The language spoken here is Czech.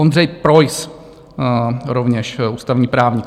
Ondřej Preuss, rovněž ústavní právník.